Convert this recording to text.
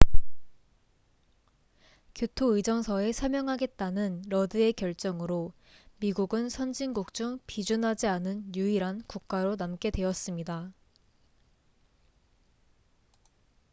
교토의정서에 서명하겠다는 러드의 결정으로 미국은 선진국 중 비준하지 않은 유일한 국가로 남게 되었습니다